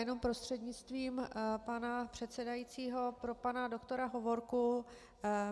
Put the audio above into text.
Jenom prostřednictvím pana předsedajícího pro pana doktora Hovorku.